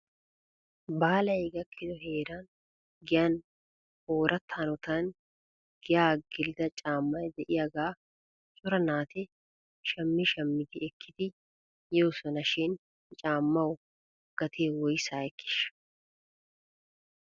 Baalay gakkido heeran giyan ooratta hanotan giyaa gelida caammay de'iyaagaa cora naati shami shamidi ekkidi yoosona shin he caamaw gatee woysaa ekkiisha?